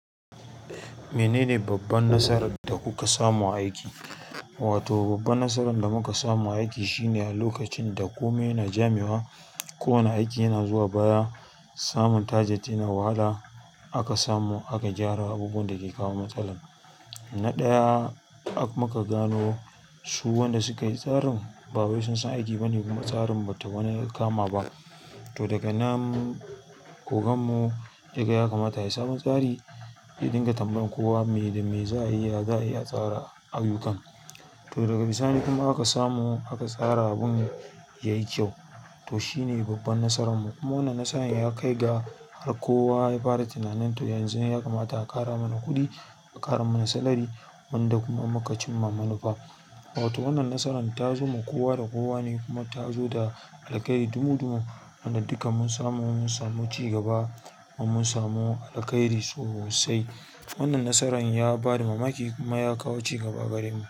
Menene babban nasarar da kuka samu a aiki? Wato, babban nasarar da muka samu a aiki shine a lokacin da komai yana jamewa, kowane aiki yana zuwa baya, samun tajat yana wahala aka samu aka gyara abubuwan da ke kawo matsala. Na ɗaya muka gano su wanda suka yi tsarin ba wai sun san aiki bane kuma tsarin bata wani kama ba. To daga nan, ku gan mu daga ya kamata a yi sabon tsari ya dinga tambayar kowa me da me za a iya, za a iya tsara ayyukan. To daga bisani kuma aka samu aka tsara abun yayi kyau. To shine babban nasaran mu. Kuma wannan nasaran ya kai ga har kowa ya fara tunanin to yanzu ya kamata a ƙara mana kuɗi, a ƙara mana salari wanda kuma muka cimma mana fa. Wato wannan nasaran ta zo ma kowa da kowa ne kuma ta zo da alkairi dumu dumu wanda duka mun samu mun samu cigaba kuma mun samu alkairi sosai. Wannan nasaran ya ba da mamaki kuma ya kawo cigaba a gare mu.